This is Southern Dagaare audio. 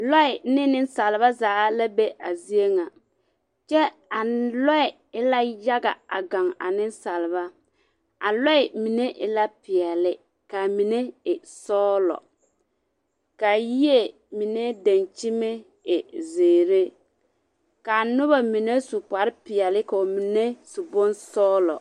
Lͻԑ ne nensaaleba zaa la be a zie ŋa, kyԑ a lͻԑ e la yaga gaŋ a nensaaleba. A lͻԑ mine e la peԑle kaa mine sͻgelͻ. Kaa yie mine daŋkyime e zeere. Kaa noba mine su kpare- peԑle ka ba mine su bonsͻgelͻ.